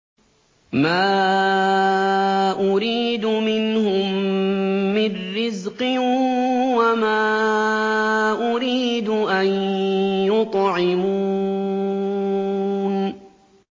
مَا أُرِيدُ مِنْهُم مِّن رِّزْقٍ وَمَا أُرِيدُ أَن يُطْعِمُونِ